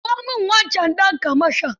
Kirawo min wancan ɗan kamashon.